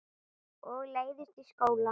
Og leiðist í skóla.